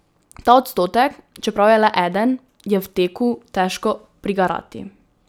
Ta odstotek, čeprav je le eden, je v teku težko prigarati.